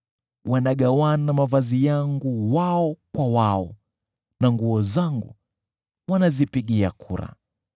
Wanagawana nguo zangu wao kwa wao, na vazi langu wanalipigia kura.